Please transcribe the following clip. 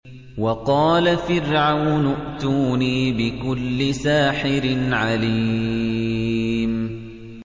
وَقَالَ فِرْعَوْنُ ائْتُونِي بِكُلِّ سَاحِرٍ عَلِيمٍ